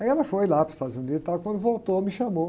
Aí ela foi lá para os Estados Unidos, tal, quando voltou me chamou.